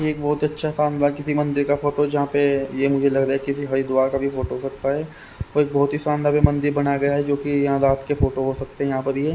एक बहुत अच्छा शानदार किसी मंदिर का फोटो जहां पे ये मुझे लग रहा है किसी हरिद्वार का भी फोटो हो सकता है और एक बहुत ही सौंदर्य मंदिर बनाया गया है जो कि यहां रात के फोटो हो सकते हैं यहां पर ये --